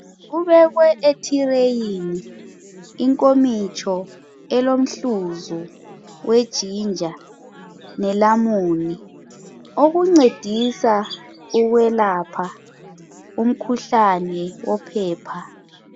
Kubekwe ethireyini inkomitsho elomhluzu we"ginger" nelamoni okuncedisa ukwelapha umkhuhlane wophepha.